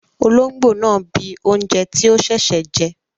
Olóngbó náà bíi oúnjẹ tí ó sẹsẹ jẹ